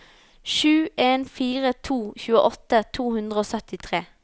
sju en fire to tjueåtte to hundre og syttitre